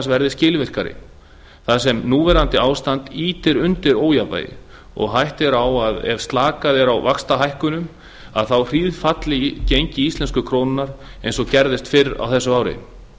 verði skilvirkari þar sem núverandi ástand ýtir undir ójafnvægi og hætta er á að ef slakað er á í vaxtahækkunum hríðfalli gengi íslensku krónunnar eins og gerðist fyrr á þessu ári